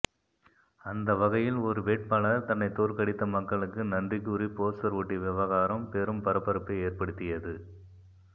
அந்த வகையில் ஒரு வேட்பாளர் தன்னை தோற்கடித்த மக்களுக்கு நன்றி கூறி போஸ்டர் ஒட்டிய விவகாரம் பெரும் பரபரப்பை ஏற்படுத்தியது